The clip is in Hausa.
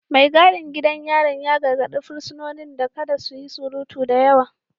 Mai gadin gidan yarin ya gargadi fursunonin da kada su yi surutu da yawa